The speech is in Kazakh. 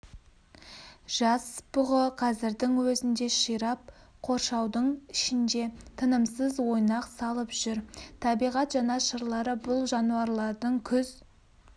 жас бұғы қазірдің өзінде ширап қоршаудың ішінде тынымсыз ойнақ салып жүр табиғат жанашырлары бұл жануарлардың күз